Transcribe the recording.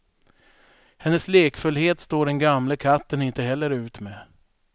Hennes lekfullhet står den gamle katten inte heller ut med.